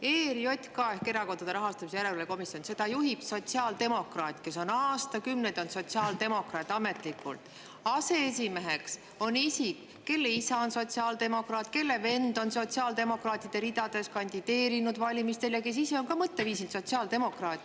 ERJK ehk Erakondade Rahastamise Järelevalve Komisjon – seda juhib sotsiaaldemokraat, kes on olnud aastakümneid ametlikult sotsiaaldemokraat, selle aseesimeheks on isik, kelle isa on sotsiaaldemokraat, kelle vend on sotsiaaldemokraatide ridades kandideerinud valimistel ja kes ise on ka mõtteviisilt sotsiaaldemokraat.